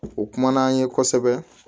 U kumana an ye kosɛbɛ